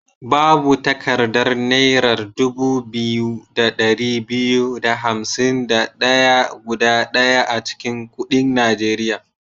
Babu takaddar naira dubu biyu da ɗari biyu da hansim da ɗaya guda ɗaya a cikin kuɗin Nigeria.